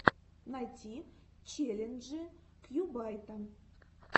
найти челленджи кьюбайта